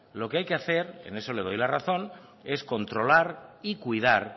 lo que hay que hacer en eso le doy la razón es controlar y cuidar